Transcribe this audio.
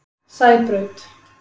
Sæbraut